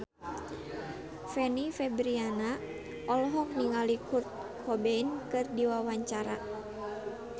Fanny Fabriana olohok ningali Kurt Cobain keur diwawancara